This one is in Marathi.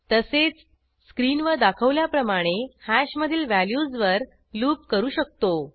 तसेच स्क्रीनवर दाखवल्याप्रमाणे हॅश मधील व्हॅल्यूजवर लूप करू शकतो